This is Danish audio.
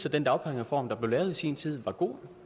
at den dagpengereform der blev lavet i sin tid var god